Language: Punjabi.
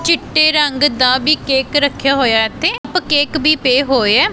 ਚਿੱਟੇ ਰੰਗ ਦਾ ਵੀ ਕੇਕ ਰੱਖਿਆ ਹੋਇਆ ਐ ਇੱਥੇ ਤ ਕੇਕ ਵੀ ਪਏ ਹੋਏ ਆ।